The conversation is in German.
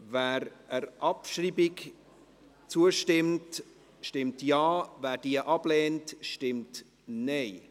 Wer der Abschreibung zustimmt, stimmt Ja, wer diese ablehnt, stimmt Nein.